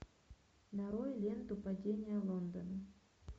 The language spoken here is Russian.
нарой ленту падение лондона